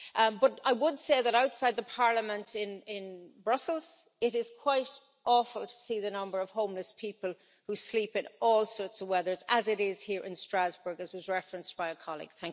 But I would say that outside the Parliament in Brussels it is quite awful to see the number of homeless people who sleep in all sorts of weather, as it is here in Strasbourg, as was referenced by a colleague.